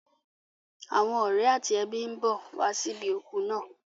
Àwọn ọ̀rẹ́ àti ẹbí ń bọ̀ wá sí ibi òkú náà.